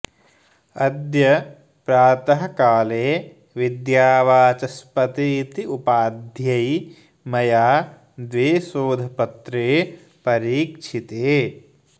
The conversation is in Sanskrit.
अद्य प्रातःकाले विद्यावाचस्पति इति उपाध्यै मया द्वे शोधपत्रे परीक्षिते